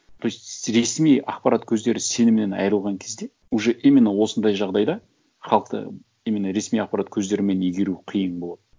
то есть ресми ақпарат көздері сенімнен айырылған кезде уже именно осындай жағдайда халықты именно ресми ақпарат көздерімен игеру қиын болады